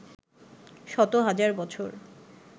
শত-হাজার বছর